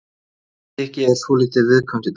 Toppstykkið er svolítið viðkvæmt í dag.